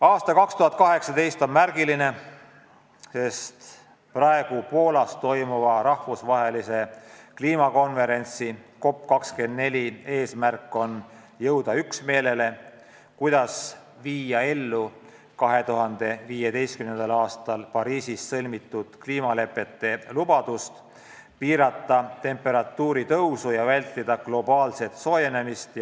" Aasta 2018 on märgiline, sest praegu Poolas toimuva rahvusvahelise kliimakonverentsi COP24 eesmärk on jõuda üksmeelele, kuidas viia ellu 2015. aastal Pariisis sõlmitud kliimalepete lubadust piirata temperatuuri tõusu ja vältida globaalset soojenemist.